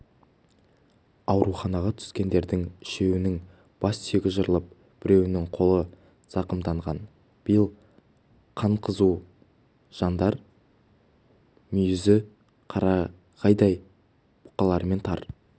ауруханаға түскендердің үшеуінің бассүйегі жарылып біреуінің қолы зақымданған биыл қаны қызу жандар мүйізі қарағайдай бұқалармен тар